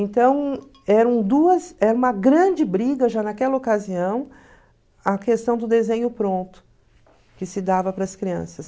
Então, eram duas era uma grande briga já naquela ocasião a questão do desenho pronto que se dava para as crianças.